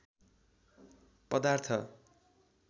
पदार्थ